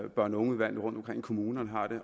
i børn og ungeudvalgene rundtomkring i kommunerne